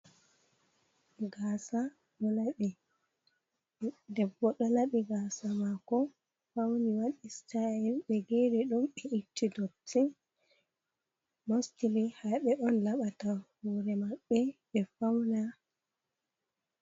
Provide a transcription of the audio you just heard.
Gasa, ɗo laɓi, debbo, ɗo laɓi gasa mako fauni, waɗi sitayel ɓe geri ɗum be itti dotti, mostili haɓe on laɓata hore maɓɓe ɓe fauna.